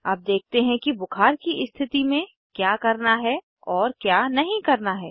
अब देखते है कि बुखार की स्थिति में क्या करना है और क्या नहीं करना है